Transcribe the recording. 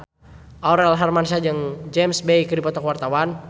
Aurel Hermansyah jeung James Bay keur dipoto ku wartawan